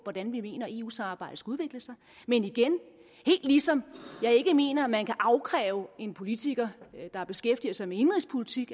hvordan vi mener at eu samarbejdet skal udvikle sig men igen helt ligesom jeg ikke mener at man kan afkræve en politiker der beskæftiger sig med indenrigspolitik